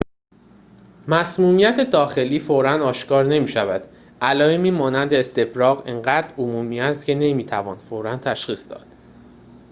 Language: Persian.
مسمومیت داخلی فوراً آشکار نمی‌شود علائمی مانند استفراغ آنقدر عمومی است که نمی‌توان فوراً تشخیص داد